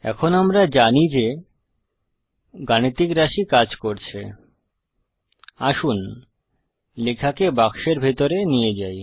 এখন আমরা জানি যে গাণিতিক রাশি কাজ করছে আসুন লেখাকে বাক্সের ভিতরে নিয়ে যাই